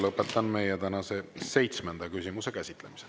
Lõpetan meie tänase seitsmenda küsimuse käsitlemise.